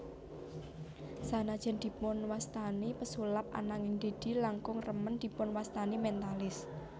Sanajan dipunwasatni pesulap ananging Deddy langkung remen dipunwastani mentalist